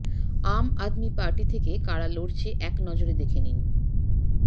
আম Aadmi Party থেকে কারা লড়ছে এক নজরে দেখে নিন